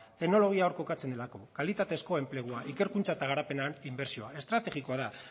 teknologia hor jokatzen delako kalitateko enplegua ikerkuntza eta garapenean inbertsioa estrategikoa da